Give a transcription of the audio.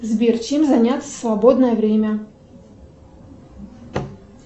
сбер чем заняться в свободное время